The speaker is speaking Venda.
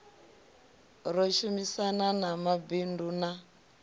ro shumisana na mabindu na